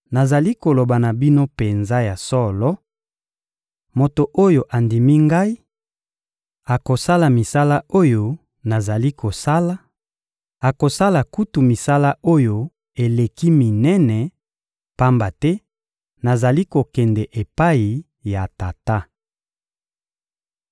Nazali koloba na bino penza ya solo: moto oyo andimi Ngai akosala misala oyo nazali kosala; akosala kutu misala oyo eleki minene, pamba te nazali kokende epai ya Tata.